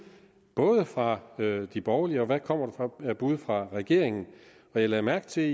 fra de borgerlige og hvad der kommer af bud fra regeringen jeg lagde mærke til at